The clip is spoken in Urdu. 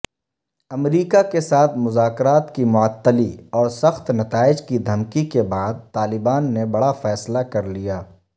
امریکاکیساتھ مذاکرات کی معطلی اورسخت نتائج کی دھمکی کے بعدطالبان نے بڑافیصلہ کرلیا